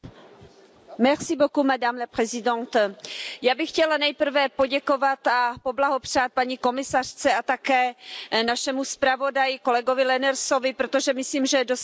Paní předsedající, já bych chtěla nejprve poděkovat a poblahopřát paní komisařce a také našemu zpravodaji kolegovi Lenaersovi, protože myslím, že dosáhli dobré dohody.